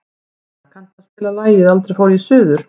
Metta, kanntu að spila lagið „Aldrei fór ég suður“?